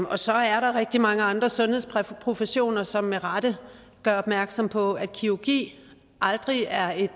og så er der rigtig mange fra andre sundhedsprofessioner som med rette gør opmærksom på at kirurgi aldrig er et